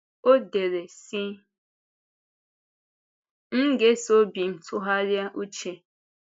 Ọ dere, sị: “M ga-esoo obi m tụgharịa uche;